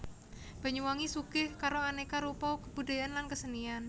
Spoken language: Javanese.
Banyuwangi sugih karo anéka rupa kebudayaan lan kasenian